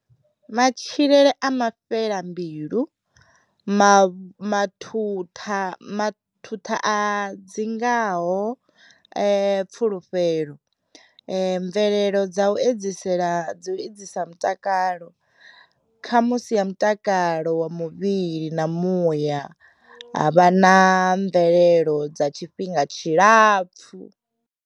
Matshilele a mafhela mbilu, mavh, mathuṱha mathuṱha a dzi ngaho pfulufhelo mvelelo dza u edzisela dzi edzisa mutakalo, khamusi ya mutakalo wa muvhili na muya, ha vha na mvelelo dza tshifhinga tshilapfhu.